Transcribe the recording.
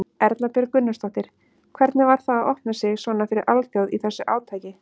Erla Björg Gunnarsdóttir: Hvernig var það að opna sig svona fyrir alþjóð í þessu átaki?